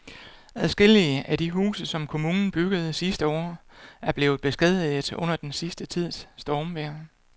Adskillige af de huse, som kommunen byggede sidste år, er blevet beskadiget under den sidste tids stormvejr.